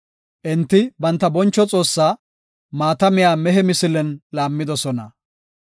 Enti, banta boncho Xoossa maata miya mehe misilen laammidosona.